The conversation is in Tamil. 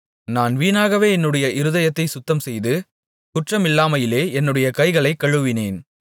நான் வீணாகவே என்னுடைய இருதயத்தைச் சுத்தம்செய்து குற்றமில்லாமையிலே என்னுடைய கைகளைக் கழுவினேன்